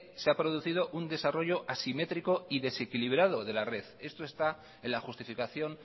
se ha producido un desarrollo asimétrico y desequilibrado de la red esto está en la justificación